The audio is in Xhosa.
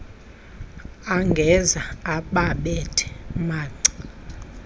angeza ababethe manca